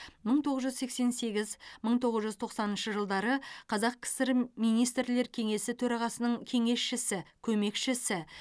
мың тоғыз жүз сексен сегіз мың тоғыз жүз тоқсаныншы жылдары қазақ кср министрлерлер кеңесі төрағасының кеңесшісі көмекшісі